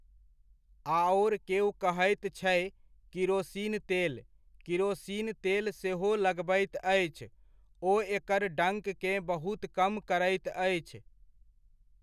आओर केओ कहैत छै किरोसिन तेल, किरोसिन तेल सेहो लगबैत अछि, ओ एकर डङ्ककेँ बहुत कम करैत अछि।